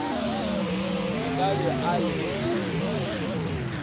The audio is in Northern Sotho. o ka be o llile